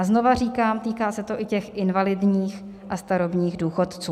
A znovu říkám, týká se to i těch invalidních a starobních důchodců.